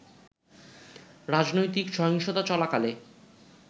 রাজনৈতিক সহিংসতা চলাকালে